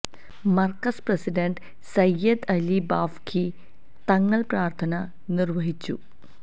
Markaz president Sayyid Ali Bafaqi Thangal പ്രാര്ഥന നിര്വഹിച്ചു